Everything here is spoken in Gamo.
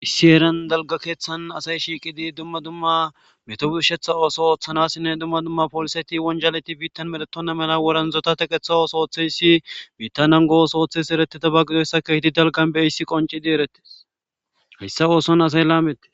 Issi eeran dalga keeththan asay shiiqidi dumma dumma meto birshetha ooso ooththanasinne dumma dumma pooliseti wonjaleti biittan meletonna mela woranzota teqeththa ooso oththeyssi biittanan goos ooththesi eretitabagidoyssaka hidi dalgan beyhissi qoncidi eretes hayssa ooson asay laamette.